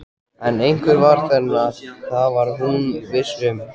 En einhver var þarna, það var hún viss um.